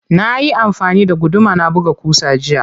Nayi amfani da guduma na buga ƙusa jiya.